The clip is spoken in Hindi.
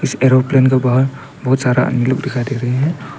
एरोप्लेन के बाहर बहुत सारा आदमी लोग दिखाई दे रहे हैं।